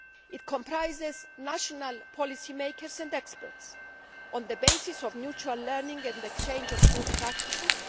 It comprises national policy makers and experts on the basis of mutual learning and the exchange of good practices.